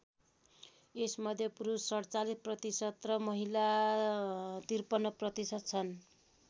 यसमध्ये पुरुष ४७% र महिला ५३% छन्।